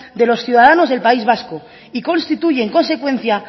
de los ciudadanos del país vasco y constituye en consecuencia